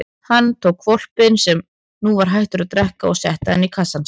Hann tók hvolpinn sem nú var hættur að drekka og setti hann í kassann sinn.